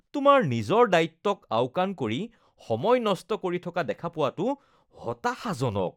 তোমাক নিজৰ দায়িত্বক আওকাণ কৰি সময় নষ্ট কৰি থকা দেখা পোৱাটো হতাশাজনক